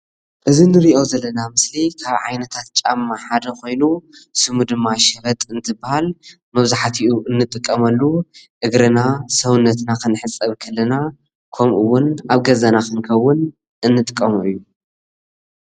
እዚ እንሪኦ ዘለና ምስሊ ካብ ዓይነታት ጫማ ሓደ ኮይኑ ስሙ ድማ ሸበጥ እንትባሃል መብዘሕትኡ እንጠቀመሉ እግርና ሰብነትና ክንሕፀብ ከለና ከምኡ እውን ኣብ ገዛና ክንከውን እንጥቀሞ እዩ፡፡